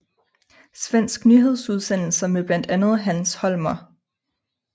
Svensk nyhedsudsendelse med blandt andet Hans Holmér